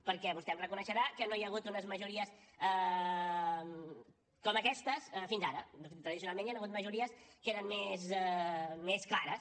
perquè vostè em reconeixerà que no hi ha hagut unes majories com aquestes fins ara tradicionalment hi han hagut majories que eren més clares